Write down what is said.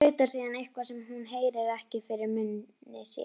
Tautar síðan eitthvað, sem hún heyrir ekki, fyrir munni sér.